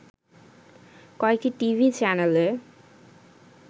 কয়েকটি টিভি চ্যানেলে